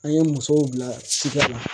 An ye musow bila ci kɛ la